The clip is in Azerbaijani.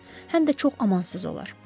Həm də çox amansız olar.